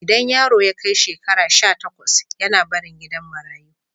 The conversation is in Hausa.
Idan yaro ya kai shekara sha takwas yAna barin gidan marayu